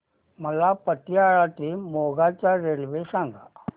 मला पतियाळा ते मोगा च्या रेल्वे सांगा